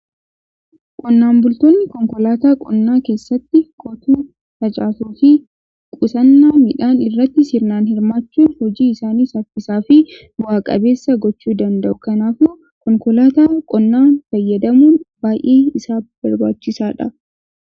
Qonnaan bultoonni konkolaataa qonnaa keessatti qotuu, facaasuu fi qusannaa midhaan irratti sirnaan hirmaachuun hojii isaanii saffisaa fi bu'aa qabeessa gochuu danda'u. Kanaafimmoo konkolaataa qonnaa fayyadamuun baay'ee isaan barbaachisaadha.